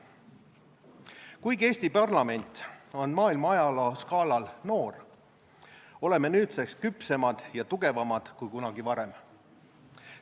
Kuigi Eesti parlament on maailma ajaloo skaalal noor, oleme nüüdseks küpsemad ja tugevamad kui kunagi varem.